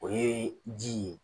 O ye ji ye.